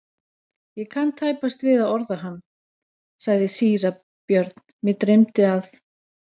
Ég kann tæpast við að orða hann, sagði síra Björn,-mig dreymdi að.